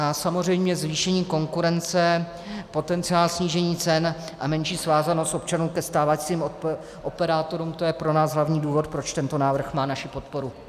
A samozřejmě zvýšení konkurence, potenciál snížení cen a menší svázanost občanů ke stávajícím operátorům, to je pro nás hlavní důvod, proč tento návrh má naši podporu.